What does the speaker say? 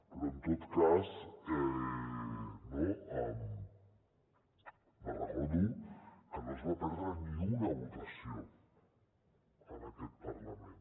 però en tot cas no me’n recordo que no es va perdre ni una votació en aquest parlament